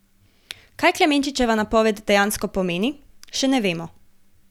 Kaj Klemenčičeva napoved dejansko pomeni, še ne vemo.